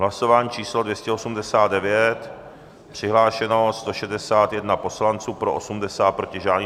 Hlasování číslo 289, přihlášeno 161 poslanců, pro 80, proti žádný.